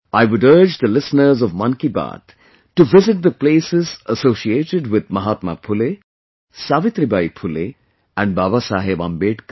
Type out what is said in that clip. I would urge the listeners of 'Mann Ki Baat' to visit the places associated with Mahatma Phule, Savitribai Phule and Babasaheb Ambedkar